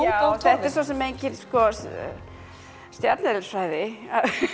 já þetta er svo sem engin stjarneðlisfræði